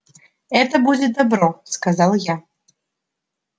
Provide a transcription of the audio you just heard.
это будет добро сказал я